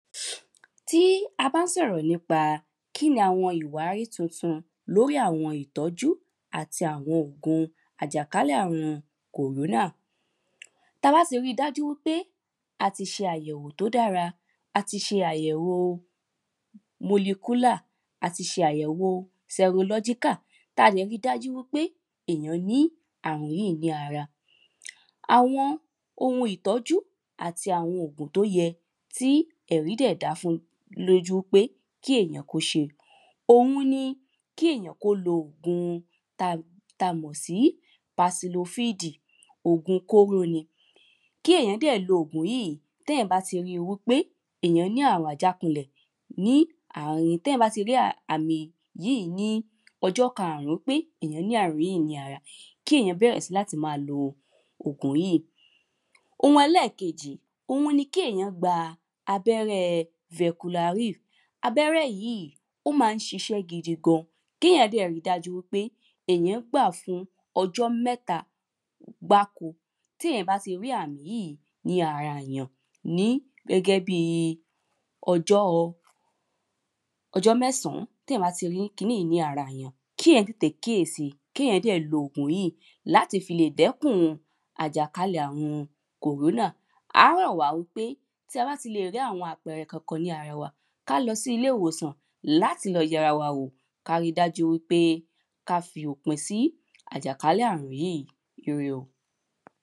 Tí a bá ń sọ̀rọ̀ nípa kíni àwọn ìwárí tuntun kíni àwọn ìwárí tutun lóri àwọn ìtọ́jú àti àwọn ògùn àjákalẹ̀ ààrun corona Tí a bá ti rí dájú wípé a ti ṣe àyẹ̀wò tí o dára a ti ṣe àyẹ̀wo molecular a ti ṣe àyẹ̀wo serological tí a dẹ̀ rí dájú wípé èyàn ní ààrùn yíì ní ara Àwọn oun ìtọ́jú àti àwọn ògùn tí ó yẹ tí ẹ̀rí dẹ̀ da fún lójú pé kí èyàn kí ó ṣe Òun ni kí èyàn kí ó lò ògùn ti a mọ̀ sí pacillofid ògùn kóró ni Kí èyàn dẹ̀ lo ògùn yìí tí èyàn bá ri wípé èyàn ní ààrùn àjákulẹ̀ ní tí èyàn bá ti rí àmì yìí ní ọjọ́ karùn-ún pé èyàn ní ààrùn yìí ní ara Oun ẹlẹ́ẹ̀kejì òun ni kí èyàn gba abẹ́rẹ́ veculary Abẹ́rẹ́ yìí ó ma ń ṣiṣẹ́ gidigan Kí èyàn dẹ̀ ri dájú wípé èyàn gbà á fún ọjọ́ mẹ́ta gbáko Tí èyàn bá ti rí àmì yìí ní ara èyàn ní gẹ́gẹ́ bíi ọjọ́ mẹ́sàn-án tí èyàn bá ti rí kiní yìí ní ara èyàn Kí èyàn tètè kíyèsi kí èyàn dẹ̀ lo ògùn yìí láti fi lè dẹ́kun àjàkálẹ̀ ààrùn corona À á rọ̀ wá wípé tí a bá ti lè rí àwọn àpẹẹrẹ Kankan ní ara wa kí á lọ sí ilé ìwòsàn láti lọ yẹ ara wò kí á ri dájú wípé kí á fi òpin sí àjàkálẹ̀ ààrùn yìí ire o